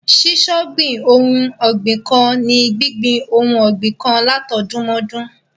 Ṣíṣọ̀gbìn ohun ọ̀gbìn kan ni gbíngbin ohun ọgbìn kan látọdúnmọ́dún.